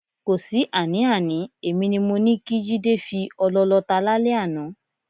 Kò sí àní-àní, èmi ni mo ní kí Jídé fi ọlọ lọta lálẹ́ àná.